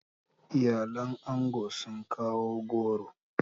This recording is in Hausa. Iyalin ango sun kawo goro.